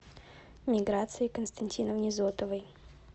миграции константиновне зотовой